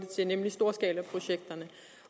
til nemlig storskalaprojekterne